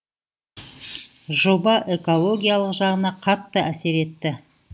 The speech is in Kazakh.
жоба экологиялық жағына қатты әсер етті